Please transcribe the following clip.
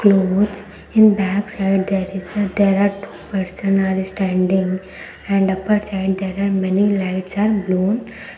clothes in back side there is a there are two person are standing and upper side there are many lights are blown.